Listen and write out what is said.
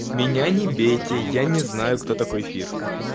меня не бейте я не знаю кто такой фир